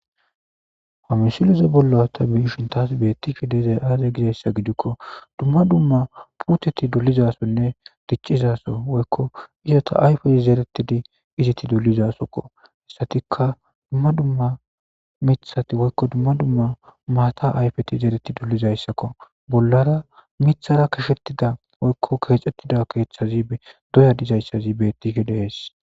Hamisileze bolla ta biishin taas bettise deezay aaze gizayssa gidikko dumma dumma puteti dulizasonne diccizaso woykko isata ayfeti zeretidi iziti dulizasokko hissatika dumma dumma mithati woykko dumma dumma maata ayfeti zereti dulizayssakko bollara mithara kashettida woykko keexxettida keeththazi doya dizayssazi bettihe dees